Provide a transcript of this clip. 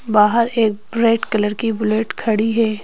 बाहर एक bright colour की बुलेट खड़ी है।